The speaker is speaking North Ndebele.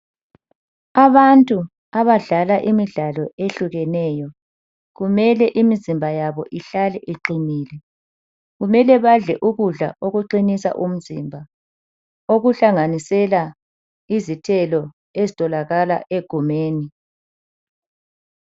Abantu abadlala imidlalo ehlukeneyo, kumele imizimba yabo ihlale iqinile. Kumele badle ukudla okuqinisa umzimba, okuhlanganisela izithelo ezitholakala egumeni.